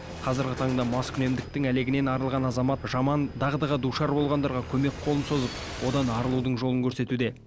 қазіргі таңда маскүнемдіктің әлегінен арылған азамат жаман дағдыға душар болғандарға көмек қолын созып одан арылудың жолын көрсетуде